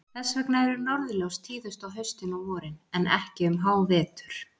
Þess vegna eru norðurljós tíðust á haustin og vorin, en ekki um hávetur.